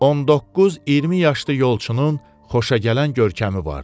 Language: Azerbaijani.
19-20 yaşlı yolçunun xoşagələn görkəmi vardı.